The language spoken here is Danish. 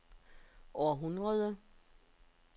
århundrede